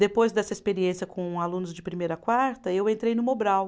Depois dessa experiência com alunos de primeira a quarta, eu entrei no Mobral.